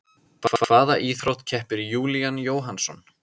Í hvaða íþrótt keppir Júlían Jóhannsson?